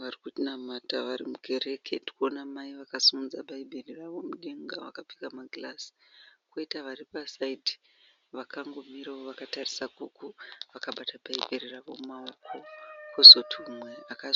Varikunamata varimukereke tirikuwona mai vakasimudza bhayibheri ravo rirmudenga vakapfeka magirazi, poita varipa "side" vakangomira wo vakatarisa ikoko vakabata bhayibheri ravo mumawoko, kozoti umwe aka